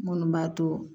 Minnu b'a to